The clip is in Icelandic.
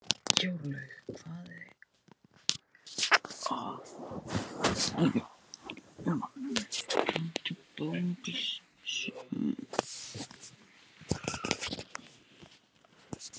Jórlaug, hvað er á dagatalinu mínu í dag?